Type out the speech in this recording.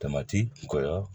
kɔkɔ